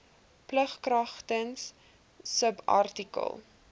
plig kragtens subartikel